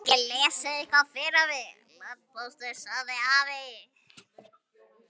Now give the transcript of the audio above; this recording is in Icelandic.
Geturðu ekki lesið eitthvað fyrir mig, landpóstur, sagði afi.